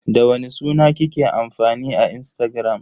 Da wani suna kike amfani a Instagram?